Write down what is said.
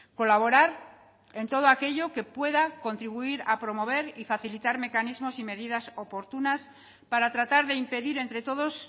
colaborar en todo aquello que pueda contribuir a promover y facilitar mecanismos y medidas oportunas para tratar de impedir entre todos